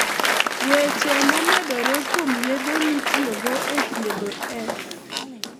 Weche momedore kuom yedhe mitiyogo e thiedho S.